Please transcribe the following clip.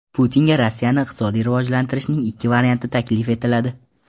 Putinga Rossiyani iqtisodiy rivojlantirishning ikki varianti taklif etiladi.